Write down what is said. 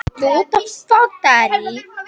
Færri á nöglum í borginni